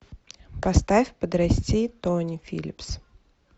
поставь подрасти тони филлипс